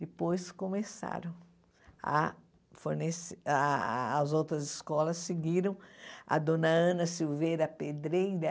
Depois começaram a fornecer, as outras escolas seguiram, a dona Ana Silveira Pedreira,